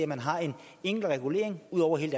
man har én enkelt regulering over hele